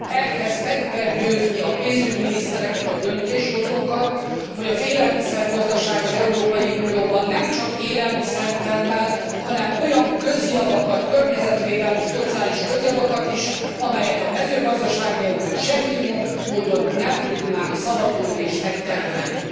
Ehhez meg kell győzni a pénzügyminisztereket, a döntéshozókat, hogy az élelmiszer gazdaság az Európai Unióban nem csak élelmiszert termel, hanem olyan közjavakat, környezetvédelmi szociális közjavakat is, amelyeket a mezőgazdaság nélkül semmi módon nem tudnánk szavatolni és megtermelni.